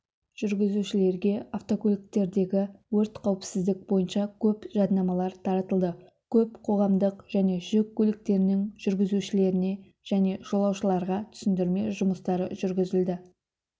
жүргізушілерге автокөліктердегі өрт қауіпсіздік бойынша көп жаднамалар таратылды көп қоғамдық және жүк көліктерінің жүргізушілеріне және жолаушыларға түсіндірме жұмыстары жүргізілді